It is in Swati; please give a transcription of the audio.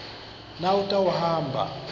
nawutawuhamba